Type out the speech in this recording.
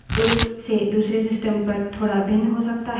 यह एक से दूसरे system पर थोड़ा भिन्न हो सकता है